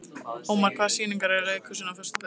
Ómar, hvaða sýningar eru í leikhúsinu á föstudaginn?